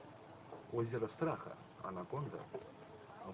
озеро страха анаконда